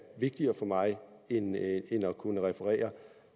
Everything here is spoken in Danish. vigtigere for mig end at kunne referere